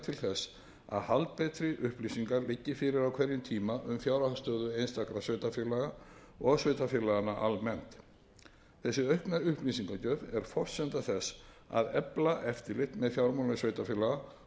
þess að haldbetri upplýsingar liggi fyrir á hverjum tíma um fjárhagsstöðu einstakra sveitarfélaga og sveitarfélaganna almennt þessi aukna upplýsingagjöf er forsenda þess að efla eftirlit með fjármálum sveitarfélaga